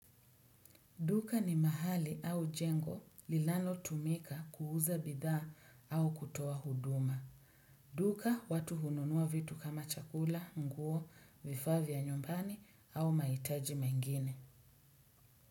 Duka ni mahali au jengo linalo tumika kuuza bidhaa au kutoa huduma. Duka watu hununua vitu kama chakula, nguo, vifaa vya nyumbani au mahitaji mengine.